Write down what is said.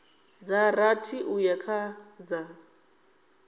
dza rathi uya kha dza